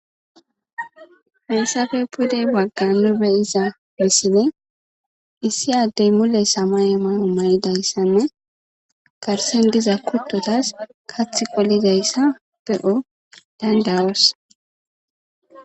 Hessafe pudey baggan nu beyiza missine issi addey mule samay mayo mayidayssanne karsen giza kuttotas kath qolidayssa be7o dandawos